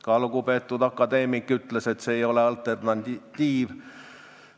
Ka lugupeetud akadeemik ütles, et see ei ole alternatiiv.